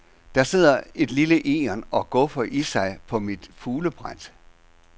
Der sidder et lille egern og guffer i sig på mit fuglebræt.